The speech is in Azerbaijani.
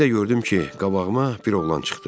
Bir də gördüm ki, qabağıma bir oğlan çıxdı.